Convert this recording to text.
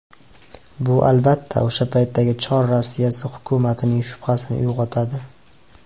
Bu, albatta, o‘sha paytdagi Chor Rossiyasi hukumatining shubhasini uyg‘otadi.